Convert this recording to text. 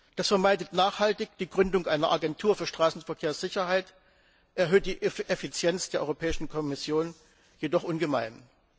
Das vermeidet nachhaltig die Gründung einer Agentur für Straßenverkehrssicherheit, erhöht die Effizienz der Europäischen Kommission jedoch ungemein.